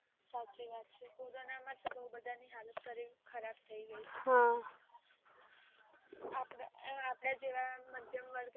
સાચી વાત છે. કોરોના માટે બહુ બધા ની હાલત. ખરાબ થઈ ગઈ. આપડા જેવા મધ્યમ વર્ગના